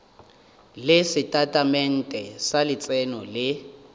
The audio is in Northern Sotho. le setatamente sa letseno le